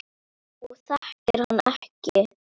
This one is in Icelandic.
Hún þekkir hann ekki.